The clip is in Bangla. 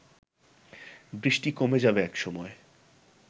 বৃষ্টি কমে যাবে একসময়